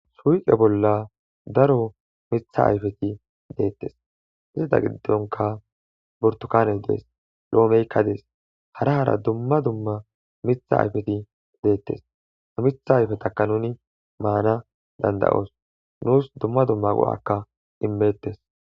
Suyiqe bolla daro mitha ayfeti deettes izata giddonka bortukane dees lo'omeykka dees hara hara dumma dumma mitha ayfeti deettes ha mitha ayfetakka nuni maana dandayoos nuus dumma dumma go'akka immettes